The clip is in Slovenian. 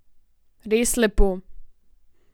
Res lepo.